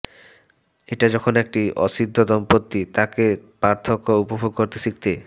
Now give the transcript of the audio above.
এটা যখন একটি অসিদ্ধ দম্পতি তাদের পার্থক্য উপভোগ করতে শিখতে